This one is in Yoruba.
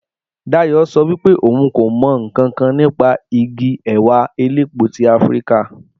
Dayò so wípé ohun kò mo nkankan nípa Igi èwà elépo ti afrika